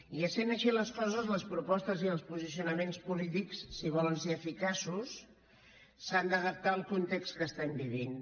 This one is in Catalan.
i essent així les coses les propostes i els posicionaments polítics si volen ser eficaços s’han d’adaptar al context que estem vivint